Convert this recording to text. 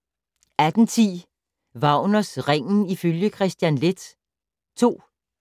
18:10: Wagners Ringen ifølge Kristian Leth II